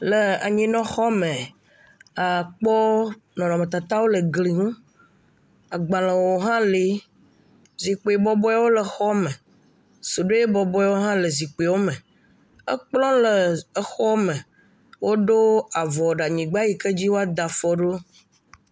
Le anyinɔxɔ me, àkpɔ nɔnɔmetatawo le gli ŋu, agbalẽwo hã le, zikpui bɔbɔewo le xɔ me, suɖoe bɔbɔewo hã le zikpui me, ekplɔ le xɔ me, woɖo avɔ ɖe anyigba yike dzi woada afɔ ɖo.